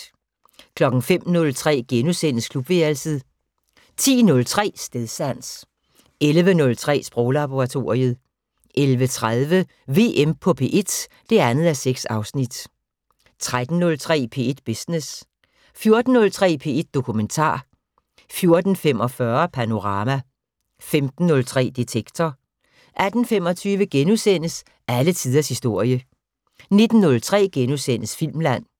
05:03: Klubværelset * 10:03: Stedsans 11:03: Sproglaboratoriet 11:30: VM på P1 (2:6) 13:03: P1 Business 14:03: P1 Dokumentar 14:45: Panorama 15:03: Detektor 18:25: Alle tiders historie * 19:03: Filmland *